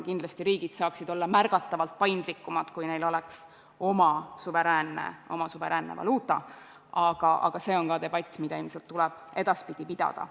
Kindlasti saaksid riigid olla märgatavalt paindlikumad, kui neil oleks oma suveräänne valuuta, aga see on ka debatt, mida tuleb edaspidi pidada.